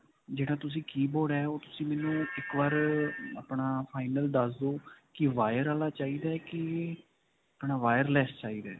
ਜਿਹੜਾ ਤੁਸੀਂ keyboard ਹੈ, ਉਹ ਤੁਸੀਂ ਮੈਨੂੰ ਇੱਕ ਬਾਰ ਆਪਣਾ final ਦੱਸ ਦੋ ਕਿ wire ਵਾਲਾ ਚਾਹਿਦਾ ਹੈ ਕਿ ਅਪਣਾ wireless ਚਾਹਿਦਾ ਹੈ.